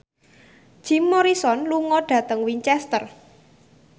Jim Morrison lunga dhateng Winchester